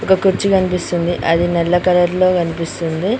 ఒక కుర్చీ కనిపిస్తుంది అది నల్ల కలర్ లో కనిపిస్తుంది.